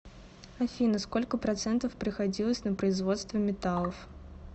афина сколько процентов приходилось на производство металлов